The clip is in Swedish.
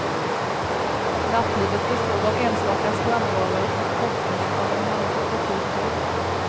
Nattlivet består av enstaka strandbarer och shoppingen av en handfull butiker.